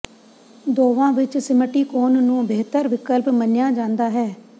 ਦੋਵਾਂ ਵਿਚ ਸਿਮਟੀਕੋਨ ਨੂੰ ਬਿਹਤਰ ਵਿਕਲਪ ਮੰਨਿਆ ਜਾਂਦਾ ਹੈ